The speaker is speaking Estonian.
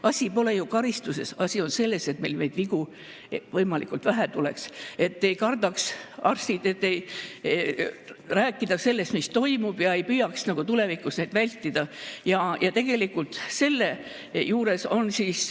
Asi pole ju karistuses, asi on selles, et meil neid vigu võimalikult vähe oleks, et arstid ei kardaks rääkida sellest, mis toimub, ja ei püüaks tulevikus neid.